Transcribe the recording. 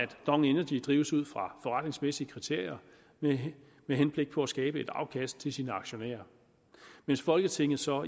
dong energy drives ud fra forretningsmæssige kriterier med henblik på at skabe et afkast til sine aktionærer mens folketinget så